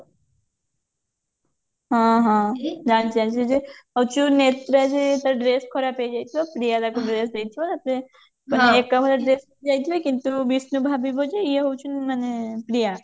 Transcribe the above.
ହଁ ହଁ ଜାଣିଛି ଜାଣିଛି ସେ ଯଉ ଅଚୁନେତ୍ରା ଯେ ତା dress ଖରାପ ହେଇଯାଇଥିବ ପ୍ରିୟା ତାକୁ dress ଦେଇଥିବ ତାପରେ ଏକାଭଳିଆ dress ପିନ୍ଧିକି ଯାଇଥିବେ କିନ୍ତୁ ବିଷ୍ଣୁ ଭାବିବ ଯେ ଇଏ ହଉଛି ଉଁ ପ୍ରିୟା